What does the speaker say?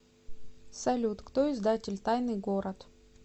салют кто издатель тайный город